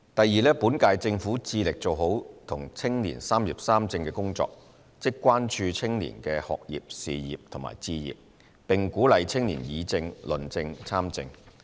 二本屆政府致力做好與青年"三業三政"的工作，即關注青年的學業、事業及置業，並鼓勵青年議政、論政及參政。